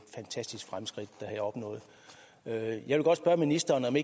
fantastiske fremskridt der her er opnået jeg vil godt spørge ministeren om